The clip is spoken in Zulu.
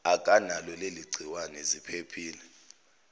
akanalo leligciwane ziphephise